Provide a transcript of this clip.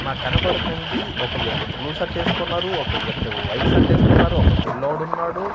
నాకు కనబడుతుంది ఒక వ్యక్తి బ్లూ సర్ట్ వేసుకున్నారు ఒక వ్యక్తి వైట్ సర్ట్ వేసుకున్నారు ఒక పిల్లోడు ఉన్నాడు.